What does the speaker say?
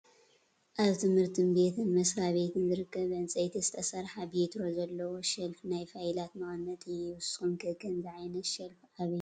ኣብ ትምህርት ቤትን መስራቤትን ዝርከብ ብዕንፀይቲ ዝተሰረሓ ቤትሮ ዘለዎ ሸልፍ ናይ ፋይላት መቀመጢ እዩ። ንስኩም ከምዚ ዓይነት ሸልፍ ኣበይ ትርኡ?